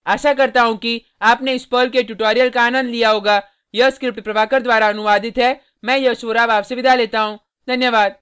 आशा करता हूँ कि आपने इस पर्ल के ट्यूटोरियल का आनंद लिया होगा यह स्क्रिप्ट प्रभाकर द्वारा अनुवादित है मैं यश वोरा अब आपसे विदा लेता हूँ